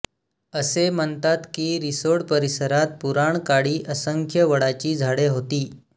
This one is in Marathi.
असे म्हणतात की रिसोड परिसरात पुराणकाळी असंख्य वडाची झाडे होती